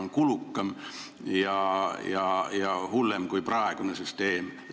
Nii et see on kulukam ja hullem kui praegune süsteem.